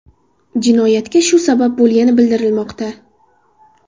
Jinoyatga shu sabab bo‘lgani bildirilmoqda.